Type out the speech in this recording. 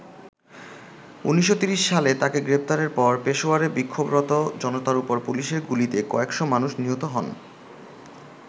১৯৩০ সালে তাকে গ্রেপ্তারের পর পেশোয়ারে বিক্ষোভরত জনতার ওপর পুলিশের গুলিতে কয়েক'শ মানুষ নিহত হন।